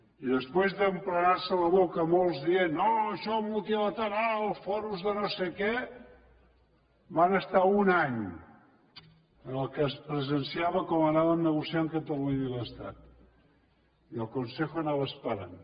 i després d’emplenar se la boca molts dient no això multilateral fòrums de no sé què van estar un any en què es presenciava com anàvem negociant catalunya i l’estat i el consejo anava esperant